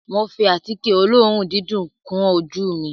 Mo fi àtíkè olóòórùn dídùn kun ojú ù mi